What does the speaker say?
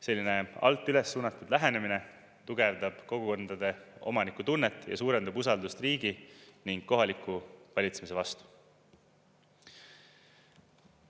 Selline alt üles suunatud lähenemine tugevdab kogukondade omanikutunnet ning suurendab usaldust riigi ja kohaliku valitsemise vastu.